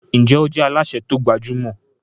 Njé o je Alásè ti o gbajúmò?